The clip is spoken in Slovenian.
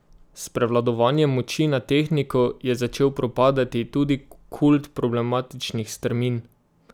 S prevladovanjem moči nad tehniko je začel propadati tudi kult problematičnih strmin.